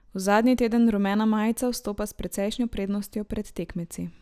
V zadnji teden rumena majica vstopa s precejšnjo prednostjo pred tekmeci.